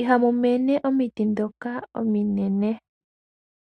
Ihamu mene omiti ndhoka ominene.